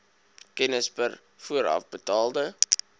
kennis per voorafbetaalde